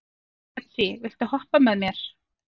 Betsý, viltu hoppa með mér?